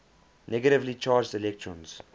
negatively charged electrons